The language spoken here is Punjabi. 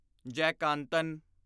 ਜੈਕਾਂਤਨ